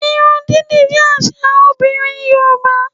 Irun dídì jẹ́ àṣà àwọn obìnrin Yorùbá